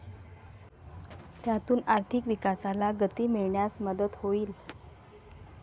त्यातून आर्थिक विकासाला गती मिळण्यास मदत होईल.